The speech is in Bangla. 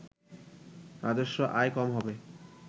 রাজস্ব আয় কম হবে